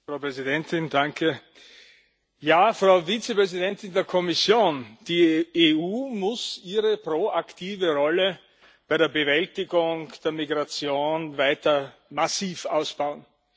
Frau Präsidentin! Ja, Frau Vizepräsidentin der Kommission, die EU muss ihre proaktive Rolle bei der Bewältigung der Migration weiter massiv ausbauen.